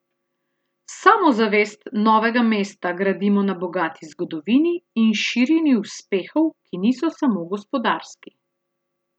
Samozavest Novega mesta gradimo na bogati zgodovini in širini uspehov, ki niso samo gospodarski.